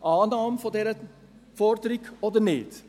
Annahme dieser Forderung oder nicht?